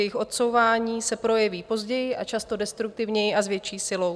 Jejich odsouvání se projeví později a často destruktivněji a s větší silou.